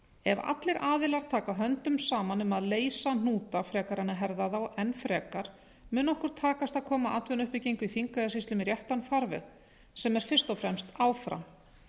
ef allir aðilar taka höndum saman um að leysa hnúta frekar en að herða þá enn frekar mun okkur takast að koma atvinnuuppbyggingu í þingeyjarsýslum í réttan farveg sem er fyrst og fremst áfram